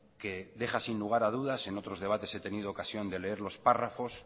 que deja sin lugar a dudas en otros debates que he tenido ocasión de leer los párrafos